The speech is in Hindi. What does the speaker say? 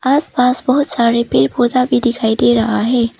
आस पास बहुत सारे पेड़ पौधा भी दिखाई दे रहा है।